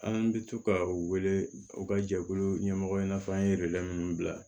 An bɛ to ka u wele u ka jɛkulu ɲɛmɔgɔ i n'a fɔ an ye minnu bila